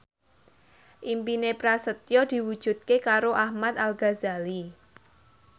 impine Prasetyo diwujudke karo Ahmad Al Ghazali